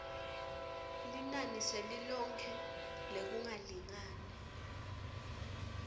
linani selilonkhe lekungalingani